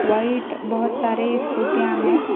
White बहुत सारे स्कूटीयां हैं।